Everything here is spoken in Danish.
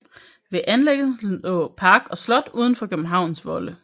Ved anlæggelsen lå park og slot uden for Københavns volde